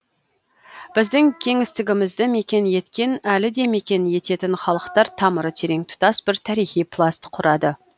біздің кеңістігімізді мекен еткен әлі де мекен ететін халықтар тамыры терең тұтас бір тарихи пласт құрады